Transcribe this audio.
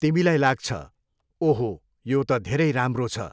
तिमीलाई लाग्छ, ओहो यो त धेरै राम्रो छ।